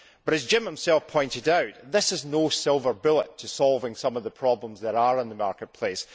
But as Jim himself pointed out, this is no silver bullet to solving some of the problems that there are in the market place.